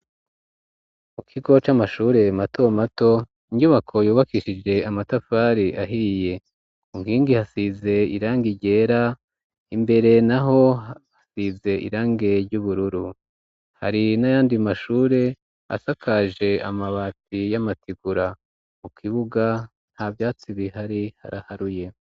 Mu kigo c'amashure mato mato inyubako yubakishije amatafari ahiye ku nkingi hasize irange ryera imbere naho hasize irangi ry'ubururu hari n'ayandi mashure asakaje amabati y'amategura mu kibuga nta vyatsi bihari haraharuye.